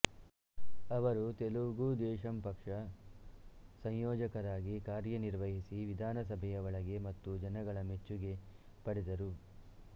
ಅವರು ತೆಲುಗುದೇಶಂ ಪಕ್ಷ ಸಂಯೋಜಕರಾಗಿ ಕಾರ್ಯನಿರ್ವಹಿಸಿ ವಿಧಾನಸಭೆಯ ಒಳಗೆ ಮತ್ತು ಜನಗಳ ಮೆಚ್ಚುಗೆ ಪಡೆದರು